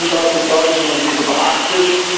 Regeln sind dazu da, dass man sie beachtet.